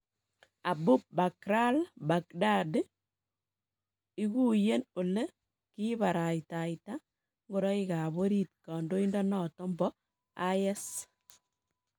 Abu Bakr al- Baghdadi: Iguiyen ole kiibartaita ngoroikab orit kandoindonoton bo IS